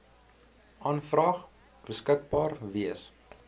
aanvraag beskikbaar wees